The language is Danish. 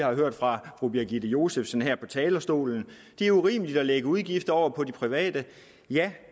har hørt fra fru birgitte josefsen her fra talerstolen det er urimeligt at lægge udgifter over på de private ja